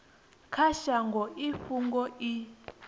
kha shango i fhungo i